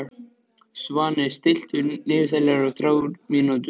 Svani, stilltu niðurteljara á þrjár mínútur.